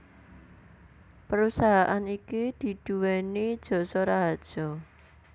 Perusahaan iki diduweni Jasa Raharja